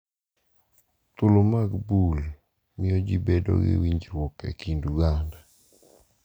Thuolo mag bul miyo ji bedo gi winjruok e kind oganda,